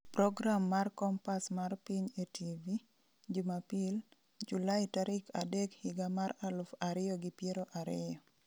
Program mar Kompas mar Piny e TV, Jumapil, Julai tarik adek higa mar aluf ariyo gi piero ariyo.